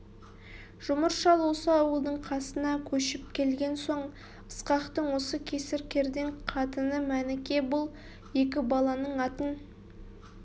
жұмыр шал осы ауылдың қасына көшіп келген соң ысқақтың осы кесір кердең қатыны мәніке бұл екі баланың атын